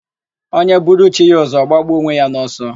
Onye buru chi ya ụzọ, ọ gbagbuo onwe ya n'ọsọ.